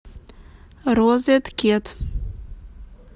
розеткед